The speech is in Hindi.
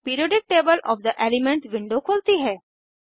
periodic table of the elements window खुलती है